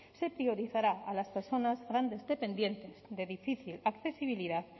se priorizará a las personas grandes dependientes de difícil accesibilidad